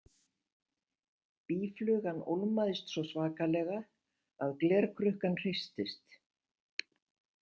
Býflugan ólmaðist svo svakalega að glerkrukkan hristist.